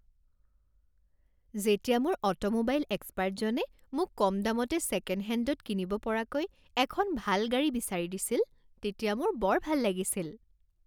যেতিয়া মোৰ অটোমোবাইল এক্সপাৰ্টজনে মোক কমদামতে ছেকেণ্ডহেণ্ডত কিনিব পৰাকৈ এখন ভাল গাড়ী বিচাৰি দিছিল তেতিয়া মোৰ বৰ ভাল লাগিছিল।